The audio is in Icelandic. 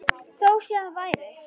Þó síðar væri.